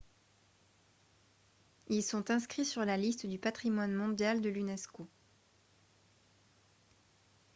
ils sont inscrits sur la liste du patrimoine mondial de l'unesco